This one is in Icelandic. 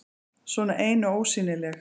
Svona ein og ósýnileg.